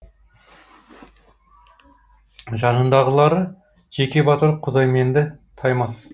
жанындағылары жеке батыр құдайменді таймас